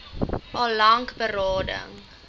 al lank berading